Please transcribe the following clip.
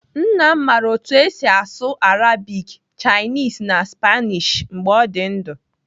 Nna m mara otú esi asụ Arabic, Chinese na Spanish mgbe ọ dị ndụ.